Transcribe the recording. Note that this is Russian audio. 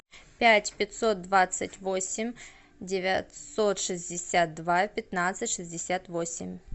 пять пятьсот двадцать восемь девятьсот шестьдесят два пятнадцать шестьдесят восемь